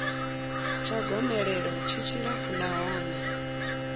tsha gomelelo tshi tshilapfu nahone